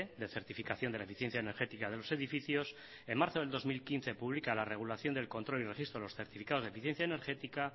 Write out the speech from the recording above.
de certificación de eficiencia energética de los edificios en marzo del dos mil quince publica la regulación del control y los registros de los certificados de eficiencia energética